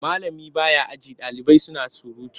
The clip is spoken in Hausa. Malami ba ya aji ɗalibai suna surutu.